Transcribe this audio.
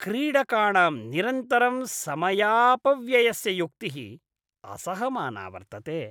क्रीडकाणां निरन्तरं समयापव्ययस्य युक्तिः असहमाना वर्तते।